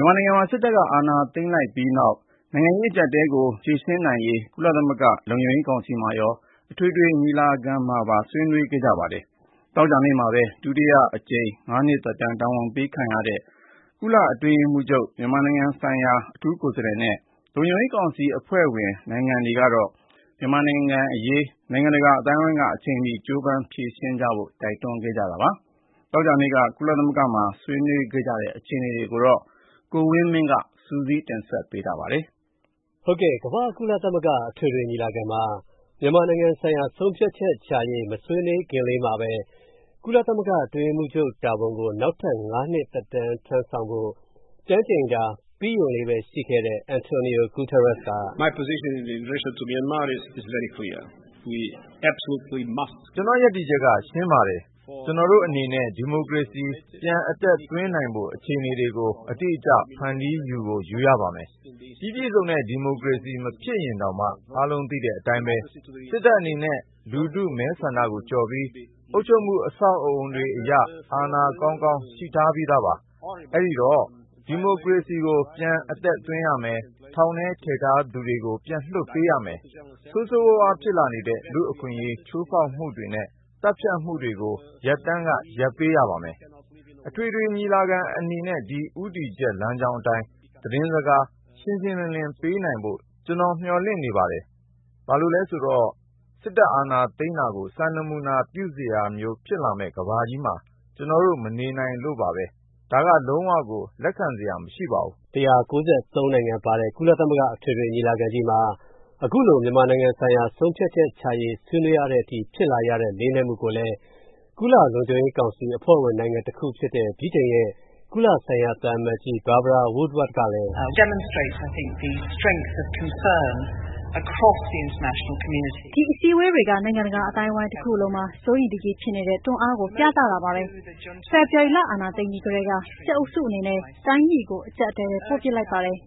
မြန်မာနိုင်ငံမှာ စစ်တပ်က အာဏာသိမ်းလိုက်ပြီးနောက်ပိုင်း နိုင်ငံရေး အကျပ်အတည်းကို ဖြေရှင်းနိုင်ရေး ကုလသမဂ္ဂ လုံခြုံရေး ကောင်စီမှာရော၊ အထွေထွေ ညီလာခံမှာ ဆွေးနွေးခဲ့ကြပါတယ်။ သောကြာနေ့မှာပဲ ဒုတိယအကြိမ် ၅ နှစ်သက်တမ်း တာဝန်ပေးခံခဲ့ရတဲ့ ကုလသမဂ္ဂ အတွင်းရေးမှူးချုပ်၊ မြန်မာနိုင်ငံဆိုင်ရာ အထူးကိုယ်စားလှယ်နဲ့ လုံခြုံရေးကောင်စီ အဖွဲ့ဝင် နိုင်ငံတွေကတော့ မြန်မာနိုင်ငံအရေး နိုင်ငံတကာ အသိုင်းအဝန်းက အချိန်မီ ကြိုးပမ်းဖြေရှင်းကြဖို့ တိုက်တွန်းခဲ့ကြတာပါ။ မနေ့တုန်းက ကုလသမဂ္ဂမှာ ဆွေးနွေးခဲ့ကြတဲ့ အခြေအနေတွေကိုတော့ ကိုဝင်းမင်းက စုစည်းတင်ပြပေးထားပါတယ်။ ကမ္ဘာ့ ကုလသမဂ္ဂအထွေထွေညီလာခံမှာ မြန်မာနိုင်ငံဆိုင်ရာ ဆုံးဖြတ်ချက်ချရေး မဆွေးနွေးခင်မှာ ကုလသမဂ္ဂ အတွင်းရေးမှူးချုပ် တာဝန်ကို နောက်ထပ် ၅ နှစ်သက်တမ်း ကျမ်းကျိန်တာ ပြီးရုံလေးပဲ ရှိတဲ့ Antonio Guterres က “ကျွန်တော့ ရပ်တည်ချက်က ရှင်းပါတယ်။ ကျွန်တော်တို့အနေနဲ့ ဒီမိုကရေစီ ပြန်အသက်သွင်းနိုင်ဖို့ အခြေအနေတွေကို အတိအကျ ဖန်တီးယူကို ယူရပါမယ်။ ပြီးပြည့်စုံတဲ့ ဒီမိုကရေစီမဖြစ်ရင်တောင်မှပေါ့နော်၊ အားလုံးသိတဲ့အတိုင်းပဲ၊ စစ်တပ်အနေနဲ့ လူထုမဲဆန္ဒကိုကျော်ပြီး၊ အုပ်ချုပ်မူ အဆောက်အအုံတွေအရ အာဏာကောင်းကောင်းရှိထားပြီးသားပါ။ အဲ့ဒိတော့၊ ဒီမိုကရေစီကို ပြန်အသက်သွင်းရမယ်၊ ထောင်ထဲထည့်ထားသူတွေကိုလည်း ပြန်လွှတ်ပေးရမယ်၊ ဆိုးဆိုးဝါဝါးကိုဖြစ်လာနေတဲ့ လူအခွင့်အရေးချိုးဖောက်မူတွေနဲ့ သတ်ဖြတ်နေမူတွေကို ရပ်တန်းက ရပ်ပေးရပါမယ်။ အထွေထွေညီလာခံအနေနဲ့ ဒီ ဦးတည်ချက်လမ်းကြောင်းအတိုင်း သတင်းစကား ရှင်းရှင်းလင်းလင်းပေးနိုင်ဖို့ ကျွန်တော် မျှော်လင့်နေပါတယ်။ ဘာလို့လဲဆိုတော့ စစ်တပ်အာဏာသိမ်းတာကို စံနမူနာပြုစရာမျိုး ဖြစ်လာမယ့် ကမ္ဘာကြီးမှာ၊ ကျွန်တော်တို့ မနေနိုင်လို့ပါပဲ။ ဒါက လုံးဝကို လက်ခံစရာ မရှိပါဘူး။” ၁၉၃ နိုင်ငံပါတဲ့ ကုလသမဂ္ဂ အထွေထွေညီလာခံကြီးမှာ အခုလို မြန်မာနိုင်ငံဆိုင်ရာ ဆုံးဖြတ်ချက်ချရေး ဆွေးနွေးရတဲ့အထိ ဖြစ်လာရတဲ့ လေးနက်မှုကိုလည်း ကုလလုံခြုံရေးကောင်စီ အဖွဲ့ဝင်နိုင်ငံတခုဖြစ်တဲ့ ဗြိတိန်ရဲ့ ကုလဆိုင်ရာ သံအမတ်ကြီး Barbara Woodward ကလည်း “ဒီအစည်းဝေးတွေက နိုင်ငံတကာအသိုင်းအဝိုင်းတစ်ခုလုံးမှာ စိုးရိမ်တကြီးဖြစ်နေတဲ့ တွန်းအားကို ပြသတာပါပဲ။ ဖေဖော်ဝါရီ အာဏာသိမ်းအပြီးထဲက၊ စစ်အုပ်စုအနေနဲ့ တိုင်းပြည်ကို အကြပ်အတည်းထဲ ပို့ပစ်လိုက်ပါတယ်၊